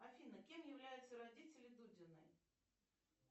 афина кем являются родители дудиной